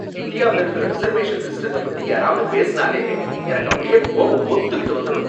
இந்தியாவுல இருக்கிற ரிசர்வேஷன் சிஸ்டத்த பத்தி யாராவது பேசுனாலே எனக்கு அப்படியே கோபம் பொத்துக்கிட்டு வந்துடும்.